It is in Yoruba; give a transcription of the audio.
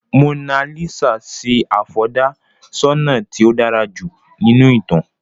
Mona Lisa sì afọ̀dà-ṣọnà tí ó dára jù nínú ìtàn.